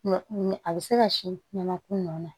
Mɛ a bɛ se ka sin ɲɛnɛma kun nɔ na